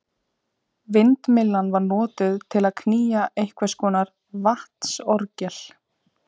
Vindmyllan var notuð til að knýja einhvers konar vatnsorgel.